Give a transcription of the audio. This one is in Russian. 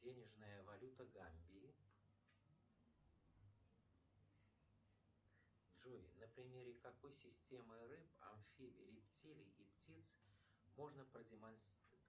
денежная валюта гамбии джой на примере какой системы рф амфибий рептилий и птиц можно продемонстрировать